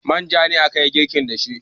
manja ne aka yi girkin da shi